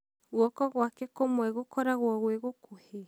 guoko gwake kũmwe gũkoragwo gwĩ gũkuhĩ?